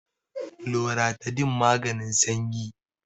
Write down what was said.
loratadine maganin sanyi